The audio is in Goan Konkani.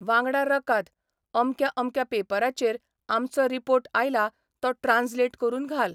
वांगडा रकाद 'अमक्या अमक्या पेपराचेर 'आमचो 'रिपोर्ट आयला तो ट्रान्सलेट करून घाल.